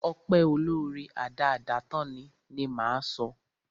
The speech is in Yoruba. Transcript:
Ọpẹ́ olóóre, adáádátán ni, ni máa sọ.